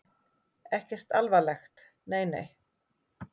Ekkert alvarlegt, nei nei.